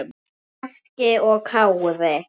Bjarki og Kári.